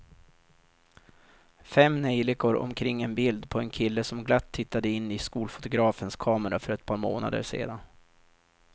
Fem neljikor omkring ett bild på en kille som glatt tittade in i skolfotografens kamera för ett par månader sedan.